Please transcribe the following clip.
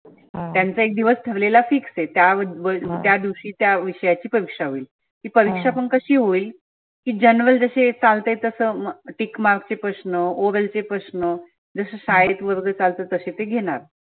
त्यांचा एक दिवस ठरलेला fix हे त्या दिवशी त्या विषयाची परिक्षा होईल. ती परिक्षा पण कशी होईल? की general जसे चालतय तसं tick mark चे प्रश्न, oral चे प्रश्न जस सहा एक वर्ग चालते तसे ते घेणार.